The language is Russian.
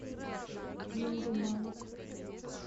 линдеманн